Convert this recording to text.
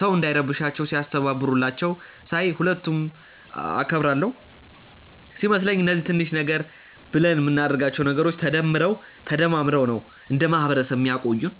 ሰው እንዳይረብሻቸው ሲያስተባብሩላቸው ሳይ ሁለቱንም አከብራለው። ሲመስለኝ እነዚህ ትንሽ ነገር ብለን ምናደርጋቸው ነገሮች ተደምረው ተደማምረው ነው እንደ ማህበረሰብ ሚያቆዩን።